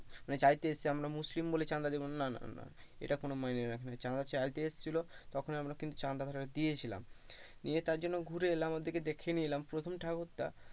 চাইতে এসেছে যে আমরা মুসলিম বলে চাঁদা দেব না না না না এটা কোনো মাইনে রাখে না চাঁদা চাইতে এসেছিলো তখন ই কিন্তু আমরা চাঁদা দিয়েছিলাম নিয়ে তারজন্য ঘুরে এলাম ওদের দেখিয়ে নিয়ে এলাম প্রথম ঠাকুরটা,